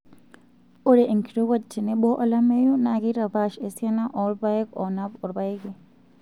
Ore enkirowuaj tenebo olameyu naa keitapaash esiana oolpayek oonap olpayeki.